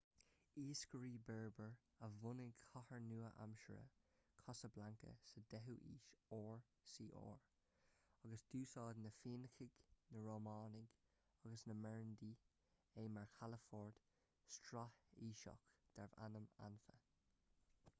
iascairí berber a bhunaigh cathair nua-aimseartha casablanca sa 10ú haois rcr agus d'úsáid na féinicigh na rómhánaigh agus na meirinidí é mar chalafort straitéiseach darbh ainm anfa